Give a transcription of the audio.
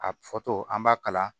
A fɔ tɔ an b'a kala